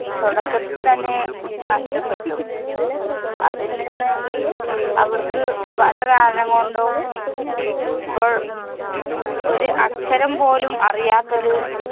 തൊടക്കത്തില്‍ തന്നെ നഷ്ടപ്പെട്ടു. അതില്‍ നിന്ന് അവര്‍ക്ക് പല കാരണം കൊണ്ടും ഇപ്പോള്‍ ഒരു അക്ഷരം പോലും അറിയാത്തൊരു